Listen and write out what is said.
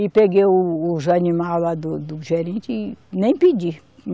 E peguei o, os animais lá do gerente e nem pedi.